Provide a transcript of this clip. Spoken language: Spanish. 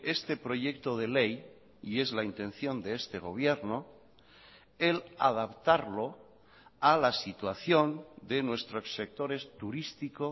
este proyecto de ley y es la intención de este gobierno el adaptarlo a la situación de nuestros sectores turístico